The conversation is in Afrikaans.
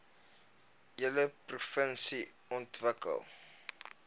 hele provinsie ontwikkel